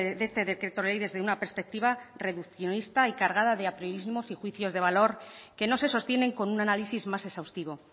de este decreto ley desde una perspectiva reduccionista y cargada de apriorismos y juicios de valor que no se sostienen con un análisis más exhaustivo